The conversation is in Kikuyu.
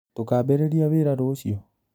Tũkambĩriĩria wĩra rũciũ?